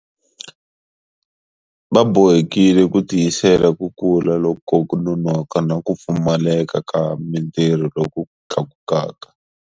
Va bohekile ku tiyisela ku kula ko nonoka na ku pfumaleka ka mitirho loku tlakukaka.